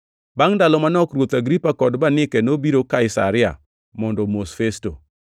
Bangʼ ndalo manok, ruoth Agripa kod Bernike nobiro Kaisaria mondo omos Festo.